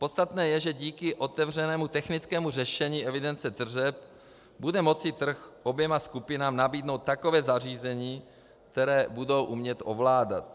Podstatné je, že díky otevřenému technickému řešení evidence tržeb bude moci trh oběma skupinám nabídnout takové zařízení, které budou umět ovládat.